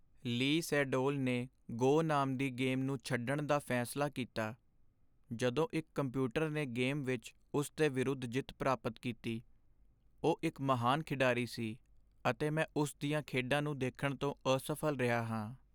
ਲੀ ਸੇਡੋਲ ਨੇ "ਗੋ" ਨਾਮ ਦੀ ਗੇਮ ਨੂੰ ਛੱਡਣ ਦਾ ਫੈਸਲਾ ਕੀਤਾ ਜਦੋਂ ਇੱਕ ਕੰਪਿਊਟਰ ਨੇ ਗੇਮ ਵਿੱਚ ਉਸ ਦੇ ਵਿਰੁੱਧ ਜਿੱਤ ਪ੍ਰਾਪਤ ਕੀਤੀ। ਉਹ ਇਕ ਮਹਾਨ ਖਿਡਾਰੀ ਸੀ ਅਤੇ ਮੈਂ ਉਸ ਦੀਆਂ ਖੇਡਾਂ ਨੂੰ ਦੇਖਣ ਤੋਂ ਅਸਫ਼ਲ ਰਿਹਾ ਹਾਂ।